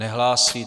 Nehlásí.